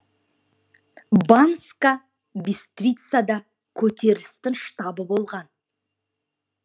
банска бистрицада көтерілістің штабы болған